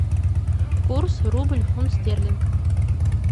курс рубль фунт стерлинг